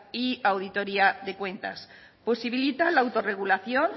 y auditoría de cuentas posibilita la autorregulación